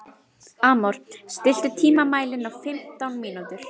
Amor, stilltu tímamælinn á fimmtán mínútur.